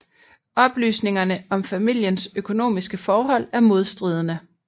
Oplysningerne om familiens økonomiske forhold er modstridende